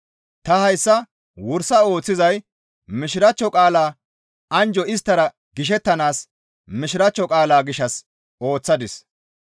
Ta hayssa wursa ooththizay Mishiraachcho qaalaa anjjo isttara gishettanaas Mishiraachcho qaalaa gishshas ooththadis.